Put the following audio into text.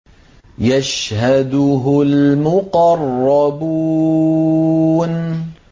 يَشْهَدُهُ الْمُقَرَّبُونَ